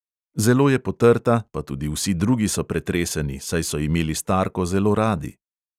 Zelo je potrta, pa tudi vsi drugi so pretreseni, saj so imeli starko zelo radi.